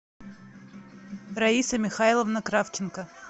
раиса михайловна кравченко